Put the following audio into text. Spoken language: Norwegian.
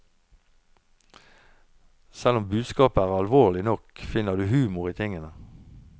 Selv om budskapet er alvorlig nok, finner du humor i tingene.